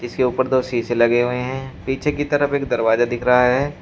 जिसके ऊपर दो शीशे लगे हुए हैं। पीछे की तरफ एक दरवाजा दिख रहा है।